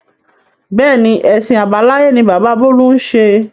Bẹ́ẹ̀ni, èsìn àbáláyé ni bàbá bolu ń ṣe.